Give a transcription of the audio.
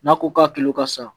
N'a ko k'a kilo ka sa